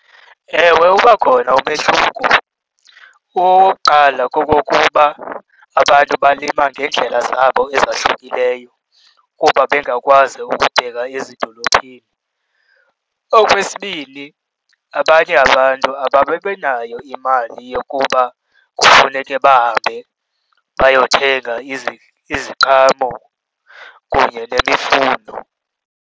Ewe, uba khona umehluko. Owokuqala kokokuba abantu balima ngeendlela zabo ezahlukileyo kuba bengakwazi ukubheka ezidolophini. Okwesibini, abanye abantu ababibinayo imali yokuba kufuneke bahambe bayothenga iziqhamo kunye nemifuno.